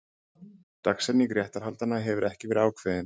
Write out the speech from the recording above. Dagsetning réttarhaldanna hefur ekki verið ákveðin